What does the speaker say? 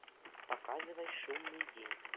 показывай шумный день